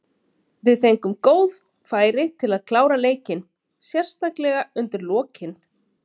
Við fengum góð færi til að klára leikinn, sérstaklega undir lokin.